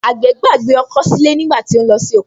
Àgbẹ̀ gbàgbé ọkọ́ sílé nígbà tó ń lọ sí oko